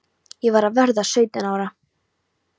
Ég var að verða sautján ára.